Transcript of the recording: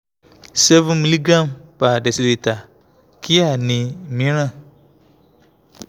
seven miligram per deciliter kíá ni míràn